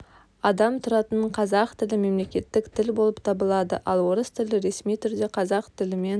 адам тұратын қазақ тілі мемлекеттік тіл болып табылады ал орыс тілі ресми түрде қазақ тілімен